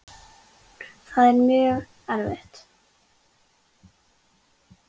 Það er mjög erfitt.